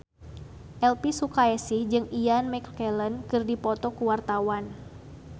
Elvy Sukaesih jeung Ian McKellen keur dipoto ku wartawan